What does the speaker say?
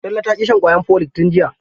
Talle ta ƙi sha ƙwayan folik tun jiya.